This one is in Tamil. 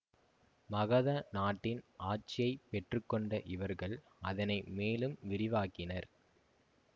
மகத நாட்டின் ஆட்சியை பெற்று கொண்ட இவர்கள் அதனை மேலும் விரிவாக்கினர்